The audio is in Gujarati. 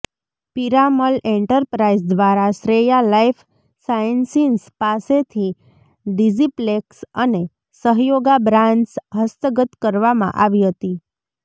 પીરામલ એન્ટરપ્રાઇઝ દ્વારા શ્રેયા લાઇફ સાયન્સિસ પાસેથી ડીજીપ્લેક્સ અને સહયોગા બ્રાન્ડ્સ હસ્તગત કરવામાં આવી હતી